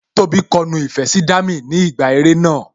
Tóbi kọ nu ìfẹ́ sí Dami ni ìgbà eré náà